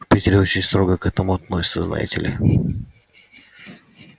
в питере очень строго к этому относятся знаете ли